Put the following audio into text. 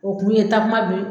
O kun ye takuma